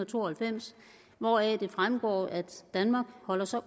to og halvfems hvoraf det fremgår at danmark holder sig